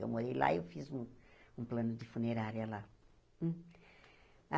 Eu morei lá e eu fiz um plano de funerária lá. Ah